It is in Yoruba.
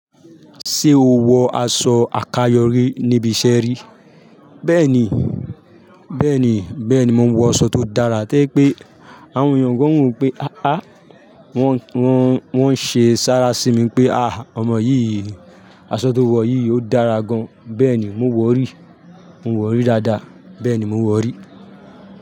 Ṣé o wọ aṣọ àkayò rí níbi ìṣẹ́ rí? Bẹ́ẹ̀ni, bẹ́ẹ̀ni, bẹ́ẹ̀ni, mo wọ aṣọ tó dára, tí pé àwọn ènìyàn gan wo pé, àá, wọ́n ń ṣe sára sí mi pé, ah, ọmọ yìí, aṣọ tó wọ̀ yìí ó dára gan. Bẹ́ẹ̀ni, mo wọ̀ rí, mo wọ̀ rí dáadáa, bẹ́ẹ̀ni mo wọ̀ rí.